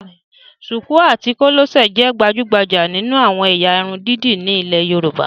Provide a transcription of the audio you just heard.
Ṣùkú àti kòlẹ́sẹ̀ jẹ́ gbajúgbajà nínú àwọn ẹ̀yà irun dídì ní ilé Yorùbá